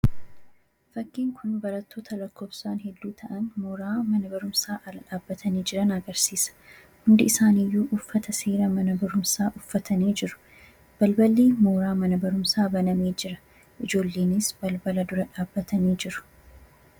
fakkiin kun barattoota lakkoofsaan hedduu ta'an mooraa mana barumsaa ala dhaabbatanii jiran agarsiisa. hundi isaaniiyyuu uffata seera mana barumsaa uffatanii jiru balballi mooraa mana barumsaa banamee jira ijoolleenis balbala dura dhaabbatanii jiru.